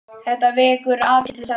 Þetta vekur athygli sagði Bjarni.